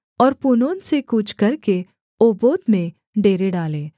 और पूनोन से कूच करके ओबोत में डेरे डालें